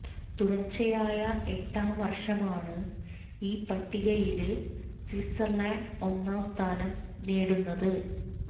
തുടര്ച്ചയായ എട്ടാം വര്ഷമാണ് ഈ പട്ടികയില് സ്വിറ്റ്സര്ലന്ഡ് ഒന്നാം സ്ഥാനം നേടുന്നത്